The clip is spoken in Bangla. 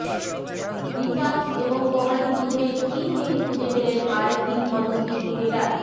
রিচার্ডস এবং কোহালির মধ্যে কী মিল খুঁজে পেলেন আর এক কিংবদন্তি ক্রিকেটার